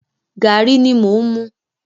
Gàrí ni mò ń mu.